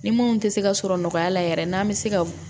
Ni mun tɛ se ka sɔrɔ nɔgɔya la yɛrɛ n'an bɛ se ka